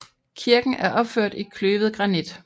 Kirken er opført i kløvet granit